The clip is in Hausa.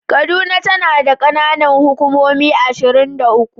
Kaduna tana da kananan hukumomi ashirin da uku.